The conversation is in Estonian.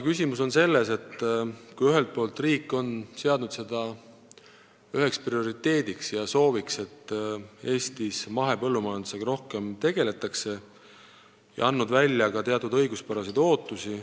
Ühelt poolt on riik seadnud üheks prioriteediks ja sooviks selle, et Eestis tegeletaks rohkem mahepõllumajandusega, ja tekitanud ka teatud õiguspäraseid ootusi.